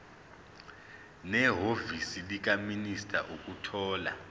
nehhovisi likamaster ukuthola